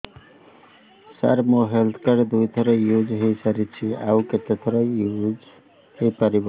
ସାର ମୋ health card ଦୁଇ ଥର ୟୁଜ଼ ହୈ ସାରିଛି ଆଉ କେତେ ଥର ୟୁଜ଼ ହୈ ପାରିବ